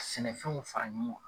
Sɛnɛfɛnw fara ɲɔgɔn kan.